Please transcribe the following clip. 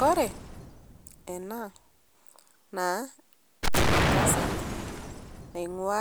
Kore anaa naa ntasat naing'ua